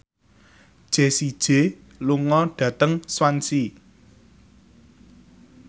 Jessie J lunga dhateng Swansea